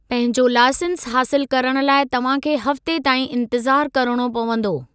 पंहिंजो लाइसंस हासिलु करणु लाइ तव्हां खे हफ़्ते ताईं इंतिज़ार किरिणो पंवदो।